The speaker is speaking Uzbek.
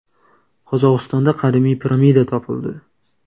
Qozog‘istonda qadimiy piramida topildi.